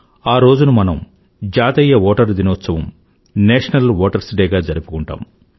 ఆ రోజుని మనం జాతీయ ఓటరు దినోత్సవంగాNational voterస్ డే జరుపుకుంటాం